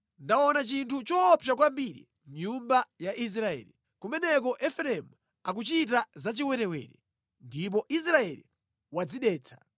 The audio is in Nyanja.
Ndaona chinthu choopsa kwambiri mʼnyumba ya Israeli. Kumeneko Efereimu akuchita zachiwerewere, ndipo Israeli wadzidetsa.